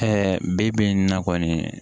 bi bi in na kɔni